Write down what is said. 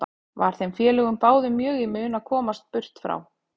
Var þeim félögum báðum mjög í mun að komast burt frá